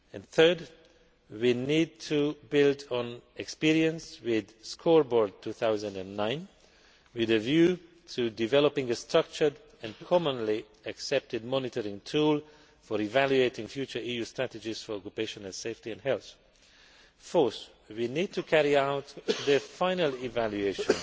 Third, we need to build on experience with Scoreboard 2009, with a view to developing a structured and commonly accepted monitoring tool for evaluating future EU strategies for occupational safety and health. Fourth, we need to carry out the final evaluation